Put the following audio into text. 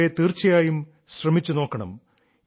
നിങ്ങൾ അവയെ തീർച്ചയായും ശ്രമിച്ചു നോക്കണം